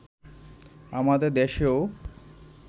আমাদের দেশেও